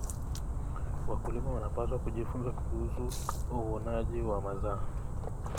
Wakulima wanapaswa kujifunza kuhusu uvunaji wa mazao.